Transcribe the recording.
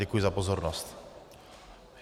Děkuji za pozornost.